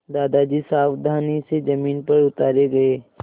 दादाजी सावधानी से ज़मीन पर उतारे गए